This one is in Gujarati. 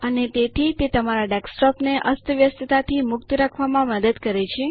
અને તેથી તે તમારા ડેસ્કટોપને અસ્તવ્યસ્તતાથી મુક્ત રાખવામાં મદદ કરે છે